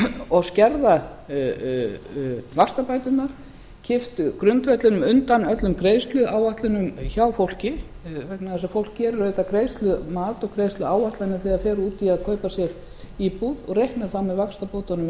og skerða vaxtabæturnar kippt grundvellinum undan öllum greiðsluáætlunum hjá fólki vegna þess að fólk gerir auðvitað greiðslumat og greiðsluáætlanir þegar það fer út í að kaupa sér íbúð og reikna þá með vaxtabótunum